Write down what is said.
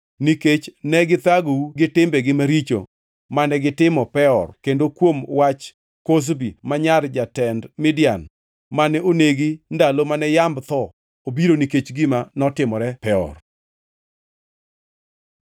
nikech ne githagou gi timbegi maricho mane gitimo Peor kendo kuom wach Kozbi ma nyar jatend Midian mane onegi ndalo mane yamb tho obiro nikech gima notimore Peor.”